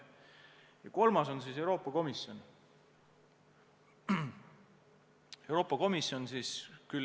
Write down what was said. Ja kolmas on Euroopa Komisjon laiemas mõttes.